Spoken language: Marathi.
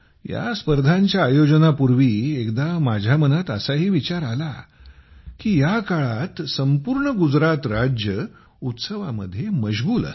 या स्पर्धांच्या आयोजनापूर्वी एकदा माझ्या मनात असाही विचार आला की या काळात संपूर्ण गुजरात राज्य उत्सवांमध्ये मशगुल असते